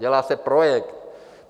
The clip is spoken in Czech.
Dělá se projekt.